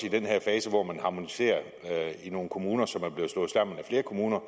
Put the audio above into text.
i den her fase hvor man harmoniserer i nogle kommuner som er blevet slået sammen af flere kommuner